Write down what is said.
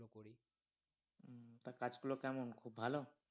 তা কাজ গুলো কেমন খুব ভালো?